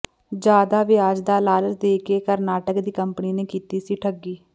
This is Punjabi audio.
ਜ਼ਿਆਦਾ ਵਿਆਜ ਦਾ ਲਾਲਚ ਦੇ ਕੇ ਕਰਨਾਟਕ ਦੀ ਕੰਪਨੀ ਨੇ ਕੀਤੀ ਸੀ ਠੱਗੀ